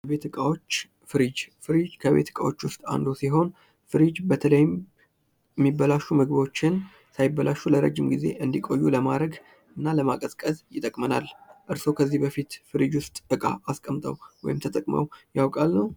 የቤት እቃዎች ፍሪጅ ፍሪጅ ከቤት እቃዎች ውስጥ አንዱ ሲሆን ፍሪጅ በተለይም የሚበላሹ ምግቦችን ሳይበላሹ ለረጅም ጊዜ እንድቆዩ ለማድረግ እና ለማቀዝቀዝ ይጠቅመናል። እርስዎ ከዚህ በፊት ፍሪጅ ውስጥ እቃ አስቀምጠው ወይም ተጠቅመው ያውቃሉ?